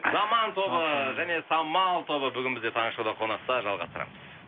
заман тобы және самал тобы бүгін бізде таңғы шоуда қонақта жалғастырамыз